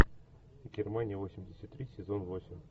германия восемьдесят три сезон восемь